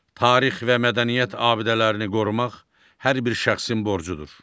Tarix və mədəniyyət abidələrini qorumaq hər bir şəxsin borcudur.